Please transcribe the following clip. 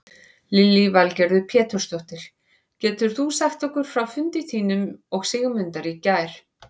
Lillý Valgerður Pétursdóttir: Getur þú sagt okkur frá fundi þínum og Sigmundar í gær?